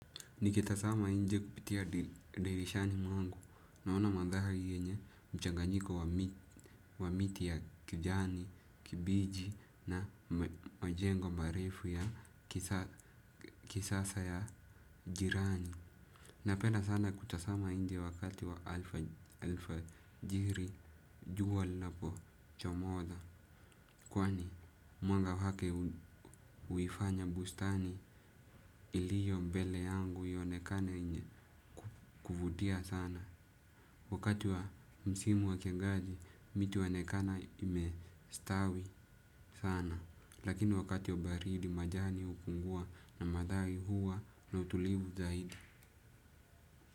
Nikitazama inje kupitia dirishani mwangu, naona mandari yenye mchanganyiko wa miti ya kijani kibichi na majengo marefu ya kisasa ya jirani. Napenda sana kutazama inje wakati wa alfajiri juwa linapo chomoza. Kwani mwanga wake huifanya bustani iliyo mbele yangu iyonekane yenye kuvutia sana. Wakati wa msimu wa kiangazi miti huonekana imestawi sana. Lakini wakati wa baridi majani hupungua na mandari huwa na utulivu zaidi.